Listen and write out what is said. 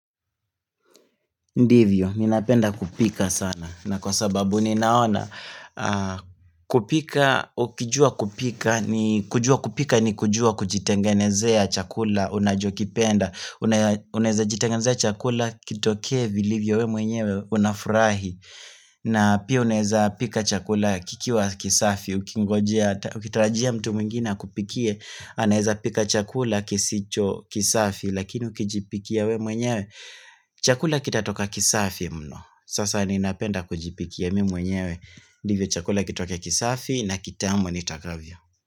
Ndivyo, ninapenda kupika sana na kwa sababu ninaona kupika, ukijua kupika, ni kujua kupika ni kujua kujitengenezea chakula unachokipenda. Unaeza jitengenezea chakula kitokee vilibyo wewe mwenyewe unafurahi. Na pia unaeza pika chakula kikiwa kisafi, ukitarajia mtu mwingina akupikie. Anaeza pika chakula kisicho kisafi lakini ukijipikia wewe mwenyewe. Chakula kitatoka kisafi mno. Sasa ninapenda kujipikia mimi mwenyewe ndivyo chakula kitoke kisafi na kitamu nitakavyo.